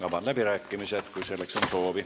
Avan läbirääkimised, kui selleks on soovi.